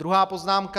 Druhá poznámka.